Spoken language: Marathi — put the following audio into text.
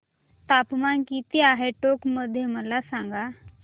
तापमान किती आहे टोंक मध्ये मला सांगा